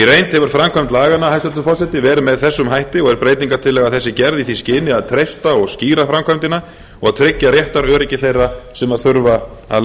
hefur framkvæmd laganna hæstvirtur forseti verið með þessum hætti og er breytingartillaga þessi gerð í því skyni að treysta og skýra framkvæmdina og tryggja réttaröryggi þeirra sem þurfa að